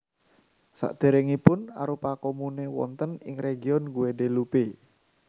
Sadèrèngipun arupa komune wonten ing region Guadeloupe